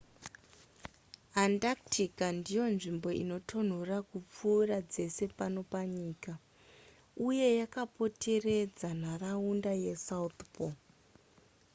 antarctica ndiyo nzvimbo inotonhora kupfuura dzese pano panyika uye yakapoteredza nharaunda yesouth pole